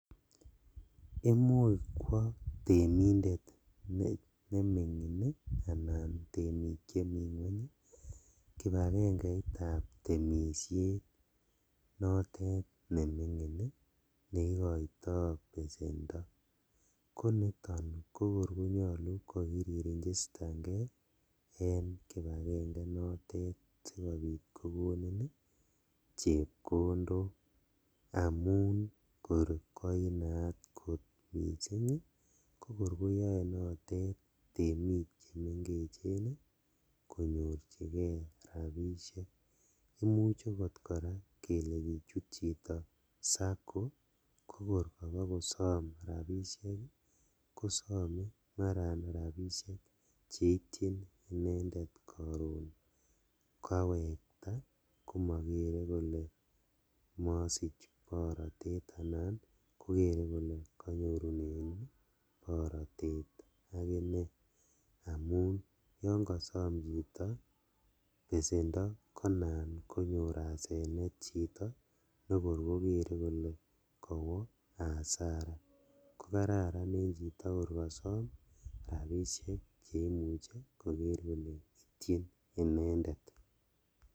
Imuch kwo temindet nemingin ii anan temik chemi ngweny kipagengeitab temishet notet nemingin neikoto besendo, koniton kokor konyolu kokiririnjistangee en kipagenge inotet asikobit kokonin chepkondok, amun kor koinaat kot missing' kokor koyoe notet temik chemengech konyorjigee rabishek, imuche koraa kele kichut chito SACCO kokor kobokosom rabishek ii , kosome maran rabishek cheitchin inendet koron kawekta komokere koke mosich borotet anan kokere kole konyorunen borotet akinee, amun yon kosom chito besendo konan konyor asenet chito nekor kokere kole kowo hasara kokararan en chito kor kosom rabishek cheimuche koker kole itchin inendet.